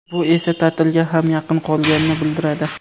Bu esa ta’tilga ham yaqin qolganini bildiradi.